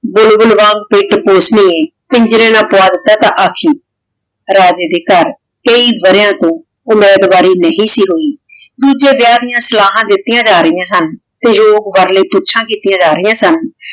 ਬੁਲਬੁਲ ਵਾਂਗ ਪਿੰਜਰੇ ਨਾ ਪਵਾ ਤਾ ਤੇ ਆਖੀ। ਰਾਜੇ ਦੇ ਘਰ ਕਈ ਵਰੀਆਂ ਤੋਂ ਓਲਾਦ ਵਾਰੀ ਨਹੀ ਸੀ ਹੋਈ ਦੂਜੇ ਵਿਆਹ ਦੀਆ ਸਲਾਹਾਂ ਦਿਤਿਯਾਂ ਜਾ ਰਹਿਯਾਂ ਸਨ ਤੇ ਊ ਕਿਤਿਯਾਂ ਜਾ ਰਹਿਯਾਂ ਸਨ